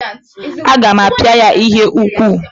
A ga m apịa ya ihe n'ụkwụ.